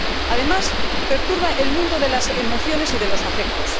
Además, perturba el mundo de las emociones y de los afectos.